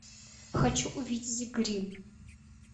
хочу увидеть гримм